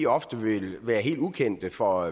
ofte vil være helt ukendte for